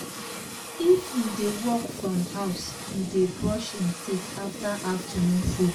if he dey work from house he dey brush him teeth after afternoon food